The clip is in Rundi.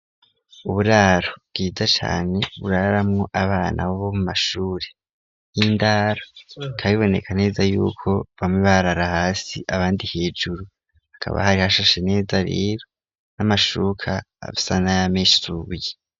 Uburaro bwiza cane buraramwo abana bo mu mashuri y'indaro bikaba biboneka neza yuko bamwe barara hasi abandi hejuru hakaba hari hashashe neza rero n'amashuka asa n'ayamesuye.